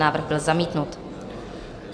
Návrh byl zamítnut.